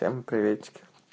всем приветики